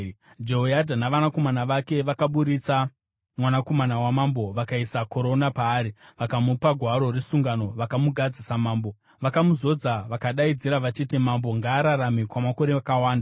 Jehoyadha navanakomana vake vakaburitsa mwanakomana wamambo vakaisa korona paari, vakamupa gwaro resungano vakamugadza samambo. Vakamuzodza vakadaidzira vachiti, “Mambo ngaararame kwamakore akawanda!”